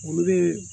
Olu bɛ